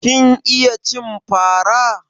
Kin iya cin fara?